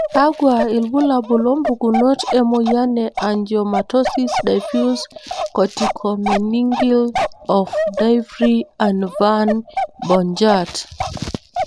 Kakwa ilbulabul ompukunot emoyian Angiomatosis, diffuse corticomeningeal, of Divry and Van Bogaert?